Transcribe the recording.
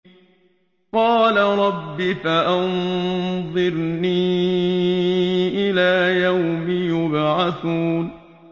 قَالَ رَبِّ فَأَنظِرْنِي إِلَىٰ يَوْمِ يُبْعَثُونَ